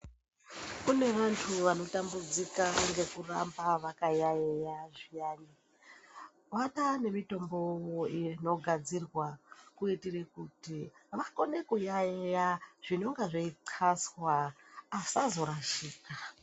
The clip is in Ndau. Kune vantu vanotambudzika ngekuramba vakayaiya zviyana. Kwataa nemitombo yakugadzirwa kuitire kuti vaone kuyaiya zvinenge zvithaswa asazorashika.